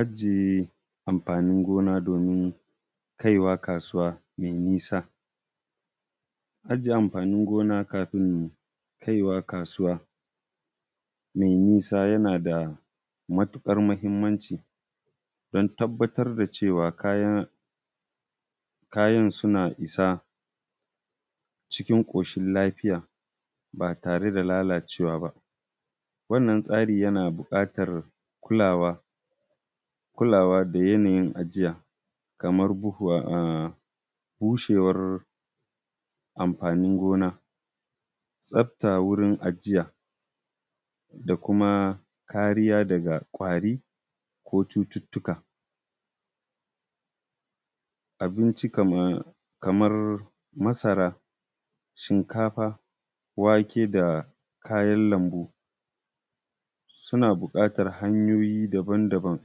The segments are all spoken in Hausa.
Ajiye amfanin gona domin kaiwa kasuwa mai bisa. Ajiye amfanin gona kafin kaiwa kasuwa mai nisa yana da matuƙar muhimmanci don tabbatar da cewa kayan suna isa cikin koshin lafiya, ba tare da lalacewa ba. Wannan tsari yana buƙatan kulawa da yanayin ajiya, kaman bushewar amfanin gona, tsafta wurin ajiya, da kuma kariya daga ƙwari, ko cututuka. Abinci kamar masara, shinkafa, wake, da kayan lambu suna buƙatar hanyoyi daban daban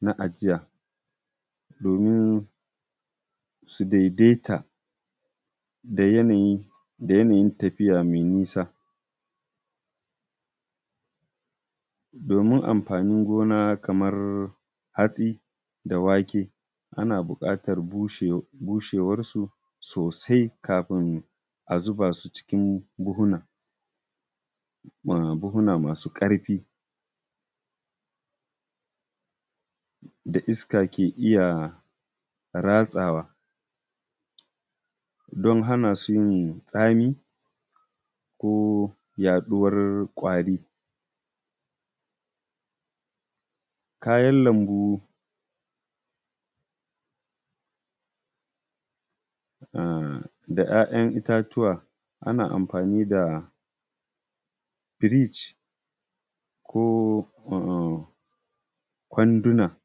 na ajiya domin su daidaita da yanayin tafiya mai nisa. Domin amfanin gona kamar hatsi da wake ana buƙatar bushewar su sosai kafin a zuba su cikin buhunna masu ƙarfi, da iska ke iya ratsawa don hana su yin tsami ko yaɗuwar ƙwari. Kayan lambu da kayan itatuwa ana amfani da firij ko kwanduna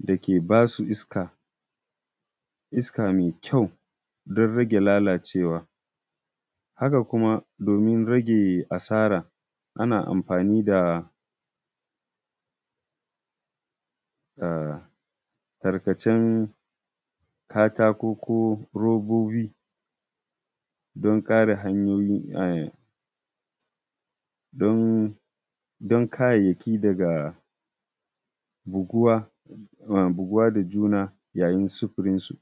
dake ba su iska, iska mai kyau don rage lalacewa, haka kuma domin rage asara ana amafani da tarkacen katako, ko robobi don kare kayyaki daga buguwa da juna yayin sufurin su.